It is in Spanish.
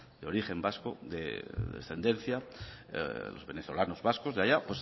de origen vasco de ascendencia los venezolanos vascos de allá